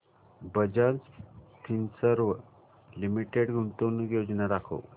Bajaj Finserv limited गुंतवणूक योजना दाखव